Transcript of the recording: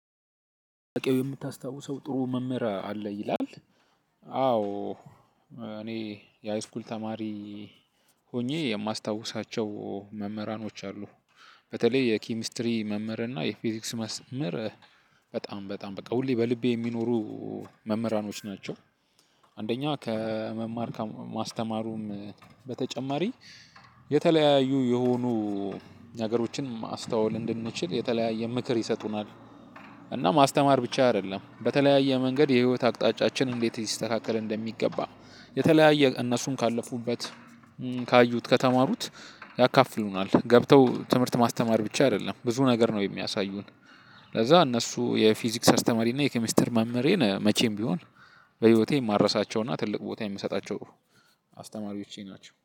የምታስታውሰው ጥሩ መምህር አለ ይላል? አዎ እኔ የሃይስኩል ተማሪ ሆኜ የማስታውሳቸው መምህራኖች አሉ በተለይ የኬሚስትሪ መምህር እና የፊዚክስ መስምር በጣም በጣም በቃ ሁሌ በልቤ የሚኖሩ መምህራኖች ናቸው። አንደኛ ከመማር ማስተማሩም በተጨማሪ የተለያዩ የሆኑ ነገሮችን ማስተዋል እንድንችል የተለያየ ምክር ይሰጡናል። እና ማስተማር ብቻ አይደለም በተለያየ መንገድ የህይወት አቅጣጫችን እንዴት ይስተካከል እንደሚገባ የተለያየ እነሱም ካለፉበት ካዩት ከተማሩት ያካፍሉናል ገብተው ትምህርት ማስተማር ብቻ አይደለም ብዙ ነገር ነው የሚያሳዩን። ለዛ እነሱ የፊዚክስ አስተማሪ እና የኬሚስተር መምህሬን መቼም ቢሆን በህይወቴ የማረሳቸውና ትልቅ ቦታ የምሰጣቸው አስተማሪዎቼ ናቸው